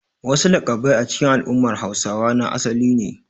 Wasu laƙabbai a cikin al'ummar Hausawa na asali ne.